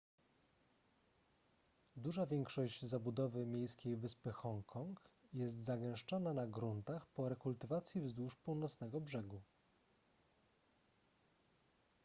duża większość zabudowy miejskiej wyspy hongkong jest zagęszczona na gruntach po rekultywacji wzdłuż północnego brzegu